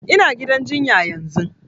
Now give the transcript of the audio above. Ina gidan jinya yanzun